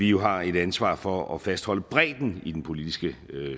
jo har et ansvar for at fastholde bredden i den politiske